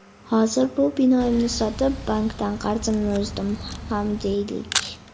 Hozir bu binoimni sotib, bankdan qarzimni uzdim ham deylik.